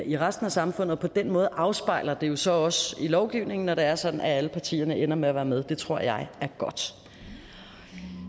i resten af samfundet på den måde afspejles det jo så også i lovgivningen når det er sådan at alle partierne ender med at være med det tror jeg er godt